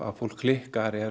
fólk klikkar er